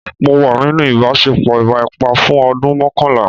Mo wà nínú ìbáṣepọ̀ ìwà ipá fún ọdún mọ́kànlá.